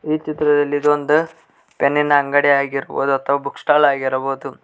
ಈ ಚಿತ್ರದಲ್ಲಿ ಇದೊಂದ್ ಪೆನ್ನಿನ ಅಂಗಡಿ ಆಗಿರ್ಬೋದು ಅಥವಾ ಬುಕ್ ಸ್ಟಾಲ್ ಆಗಿರ್ಬೋದು.